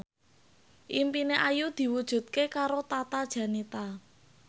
impine Ayu diwujudke karo Tata Janeta